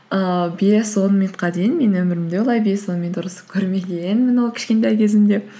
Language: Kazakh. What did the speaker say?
ііі бес он минутқа дейін мен өмірімде олай бес он минут ұрысып көрмегенмін ол кішкентай кезімде